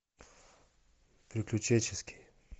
приключенческий